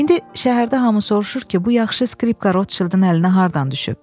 İndi şəhərdə hamı soruşur ki, bu yaxşı skripka Rodşildin əlinə hardan düşüb?